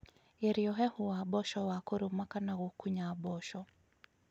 Geria ũhehu wa mboco na kũrũma kana gũkunya mboco